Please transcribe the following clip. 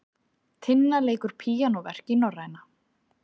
Tinna leikur píanóverk í Norræna